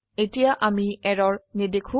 এতিয়া আমি এৰৰ নেদেখো